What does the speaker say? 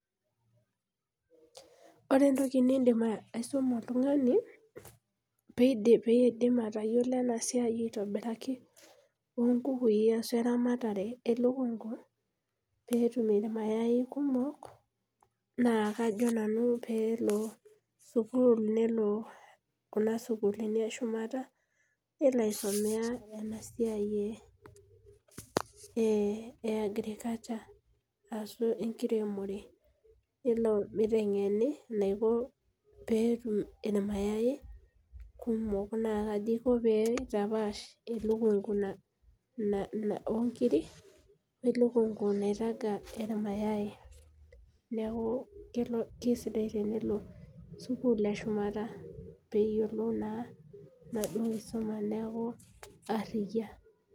Ore entoki nidim aisuma oltungani, pee idim atayiolo ena siai aitobiraki, oo bukui, ashu eramatare elukunku, peetum irmayai kumok. maa kajo nanu peelo sukuul, nelo Kuna sukuulini eshumata, nelo aisomea Nena siai ee e agriculture ashu enkiremore, nelo miyengeni enaiko peetum ilmayai. kumok naa kaji iko pee itapaasj elukunku Ina oo nkiri, we lukunku naitaga irmayai. neeku kisidai tenelo sukuul eshumata pee eyiolou naa ena kisuma neeku ariyia